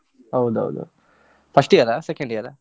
ಹೌದೌದು, first year ಆ second year ಆ?